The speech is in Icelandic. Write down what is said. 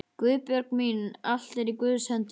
Guðbjörg mín, allt er í Guðs hendi.